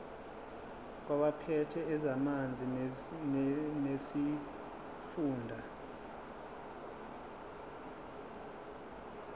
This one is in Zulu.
kwabaphethe ezamanzi nesifunda